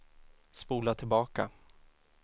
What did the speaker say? spola tillbaka